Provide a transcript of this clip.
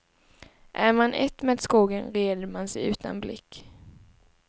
Är man ett med skogen, reder man sig utan blick.